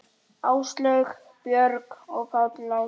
Áslaug, Björg og Páll Ásgeir.